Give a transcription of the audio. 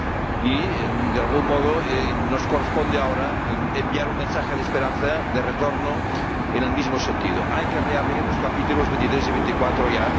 Y, de algún modo, nos corresponde ahora enviar un mensaje de esperanza, de retorno, en el mismo sentido hay que reabrir los capítulos 23 y 24 ya.